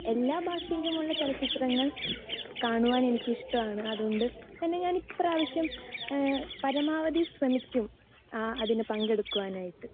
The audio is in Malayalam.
സ്പീക്കർ 2 എല്ലാ ഭാഷയിലുള്ള ചലച്ചിത്രങ്ങൾ കാണുവാൻ എനിക്ക് ഇഷ്ടമാണ്. അതുകൊണ്ട് പിന്നെ ഞാൻ ഇപ്രാവശ്യം പരമാവധി ശ്രമിക്കും അതിൽ പങ്കെടുക്കുവാൻ ആയിട്ട്.